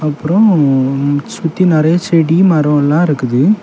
அப்ரோ சுத்தி நிறைய செடி மரோ இருக்குது.